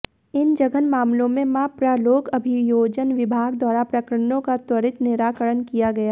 इन जघन्य मामलों में मप्र लोक अभियोजन विभाग द्वारा प्रकरणों का त्वरित निराकरण किया गया